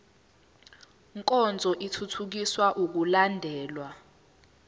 nkonzo ithuthukisa ukulandelwa